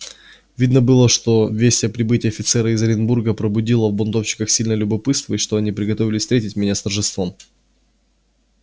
видно было что весть о прибытии офицера из оренбурга пробудила в бунтовщиках сильное любопытство и что они приготовились встретить меня с торжеством